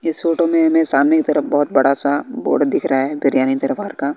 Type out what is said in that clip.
इस फोटो में हमें सामने की तरफ बहुत बड़ा सा बोर्ड दिख रहा है दरबार का।